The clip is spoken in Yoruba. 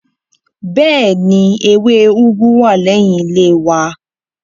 Bẹ́ẹ̀ni, ewé úgú wà lẹ́yìn ilé wa